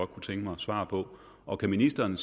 kunne tænke mig svar på og kan ministeren